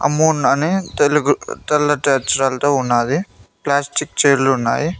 Amun తెల్లటి అక్షరాలతో ఉన్నాది ప్లాస్టిక్ చేర్లు ఉన్నాయి.